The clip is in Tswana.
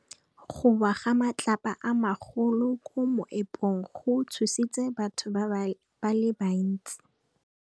Go wa ga matlapa a magolo ko moepong go tshositse batho ba le bantsi.